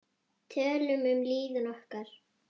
Tölum um líðan okkar.